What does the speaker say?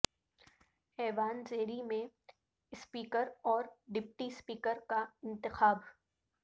ایوان زیریں میں اسپیکر اور ڈپٹی اسپیکر کا انتخاب